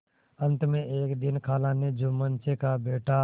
अंत में एक दिन खाला ने जुम्मन से कहाबेटा